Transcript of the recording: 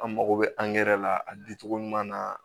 An mago bɛ angɛrɛ la a di cogo ɲuman na